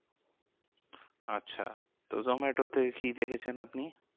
আচ্ছা তো জোম্যাটোতে কি দেখেছেন আপনি?